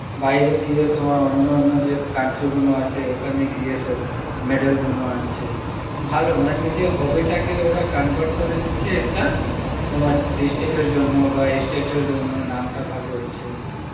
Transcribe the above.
বাইরে গিয়ে তোমার অন্য অন্য যে country গুন আছে ওখানে গিয়ে সব medal গুন আনছে ভালো মানে নিজের hobby তাকে ওরা convert করে নিচ্ছে একটা তোমার district এর জন্য বা state এর জন্য নাম টা ভালো হচ্ছে